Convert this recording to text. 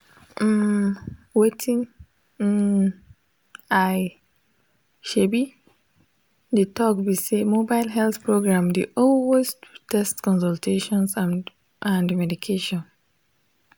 um wetin um i um dey talk be say mobile health program dey always do tests consultations and and medication.